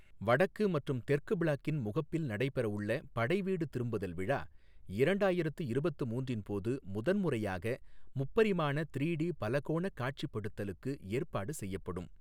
வடக்கு மற்றும் தெற்கு பிளாக்கின் முகப்பில் நடைபெற உள்ள படைவீடு திரும்புதல் விழா இரண்டாயிரத்து இருபத்து மூன்றின் போது முதன்முறையாக, முப்பரிமாண த்ரீ டி பலகோணக் காட்சிப்படுத்தலுக்கு ஏற்பாடு செய்யப்படும்.